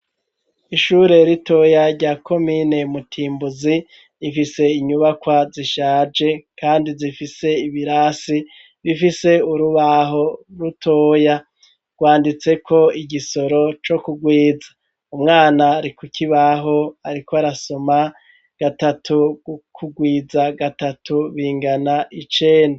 Ishure ritoya rya komine mu Timbuzi rifise inyubakwa zishaje kandi zifise ibirasi bifise urubaho rutoya rwanditseko igisoro co kurwiza umwana ari kuki baho ariko arasoma gatatu ku rwiza gatatu bingana icenda.